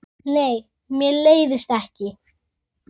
Nei, mér leiðist ekki.